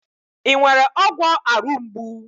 Ị nwere ọgwọ arụ mgbu?